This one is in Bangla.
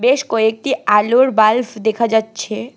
বেশ কয়েকটি আলোর বাল্বভ দেখা যাচ্ছে।